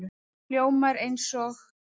Hljómar eins og